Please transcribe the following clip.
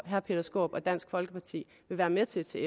herre peter skaarup og dansk folkeparti vil være med til at se